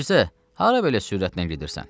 Mirzə, hara belə sürətlə gedirsən?